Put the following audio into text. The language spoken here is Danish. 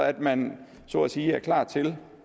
at man så at sige er klar til